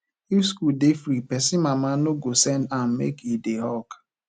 if school dey free pesin mama no go send am make e dey hawk